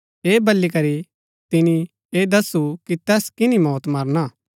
ऐह बली करी तिनी ऐह दस्सु कि तैस किन्‍नी मौती मरणा हा